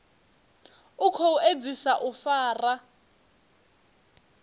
u khou edzisa u fara